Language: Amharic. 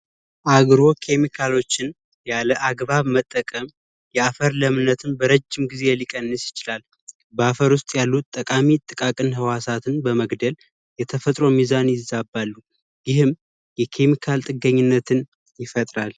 አግሮ ኬሚካሎችን ያለ አግባብ መጠቀም የአፈር ለምነትም በረጅም ጊዜ ሊቀንስ ይችላል በአፈር ውስጥ ያሉት ጠቃሚ ጥቃቅን ህዋሳቱን በመግደል የተፈጥሮ ሚዛን ይዛ ጥገኝነትን ይፈጥራል